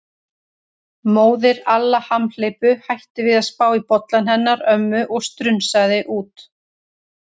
Móðir Alla hamhleypu hætti við að spá í bollann hennar ömmu og strunsaði út.